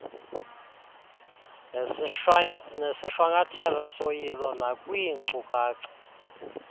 nesishwankathelo soyilo nakwiinkcukacha